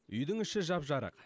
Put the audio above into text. үйдің іші жап жарық